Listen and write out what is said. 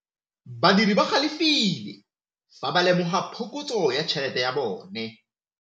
Badiri ba galefile fa ba lemoga phokotsô ya tšhelête ya bone.